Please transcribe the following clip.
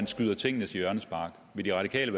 skyder tingene til hjørnespark vil de radikale